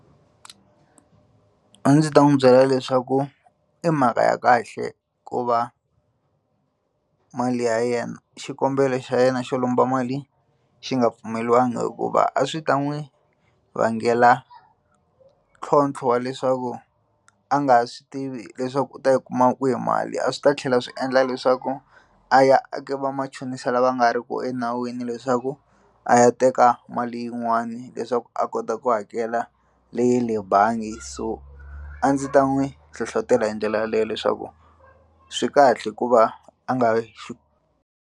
A ndzi ta n'wi byela leswaku i mhaka ya kahle ku va mali ya yena xikombelo xa yena xo lomba mali xi nga pfumeleriwangi hikuva a swi ta n'wi vangela ntlhontlho wa leswaku a nga ha swi tivi leswaku u ta yi kuma kwihi mali a swi ta tlhela swi endla leswaku a ya a ka vamachonisi lava nga ri ku enawini leswaku a ya teka mali yin'wani leswaku a kota ku hakela leya le bangi so a ndzi ta n'wi hlohlotela hi ndlela yaleyo leswaku swi kahle ku va a nga .